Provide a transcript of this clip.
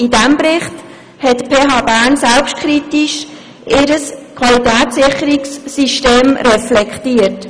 In diesem Bericht hat die PHBern ihr Qualitätssicherungssystem selbstkritisch reflektiert.